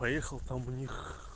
поехал там у них